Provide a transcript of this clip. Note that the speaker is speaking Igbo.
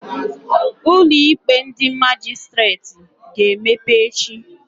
Ụlọ ikpe ndị Majistreti ga-emepe echi